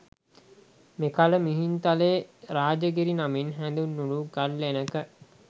මෙකල මිහින්තලේ රාජගිරි නමින් හැඳින්වුණු ගල්ලෙනක